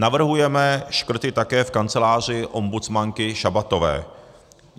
Navrhujeme škrty také v kanceláři ombudsmanky Šabatové.